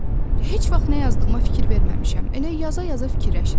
Heç vaxt nə yazdığıma fikir verməmişəm, elə yaza-yaza fikirləşirəm.